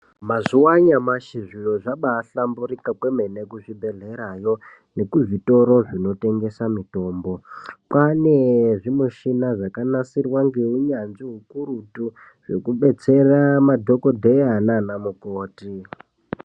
Mazuwa anyamashi zviro zvabahlamburika kwemene kuzvibhehleya yo nekuzvitoro zvinotengesa mitombo kwaane zvimishina zvakagadzirwa ngeunyanzvi hukurutu zvekubetsera madhokodheya nanamukoti.